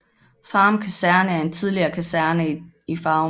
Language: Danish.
Farum Kaserne er en tidligere kaserne i Farum